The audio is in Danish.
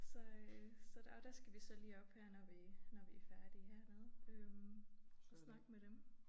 Så øh så der jo der skal vi så lige op her når vi når vi færdige hernede øh og snakke med dem